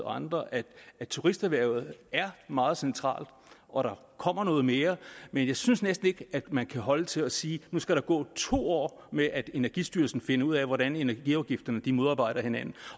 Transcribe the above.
og andre at turisterhvervet er meget centralt og der kommer noget mere men jeg synes næsten ikke at man kan holde til at sige at nu skal gå to år med at energistyrelsen finder ud af hvordan energiafgifterne modarbejder hinanden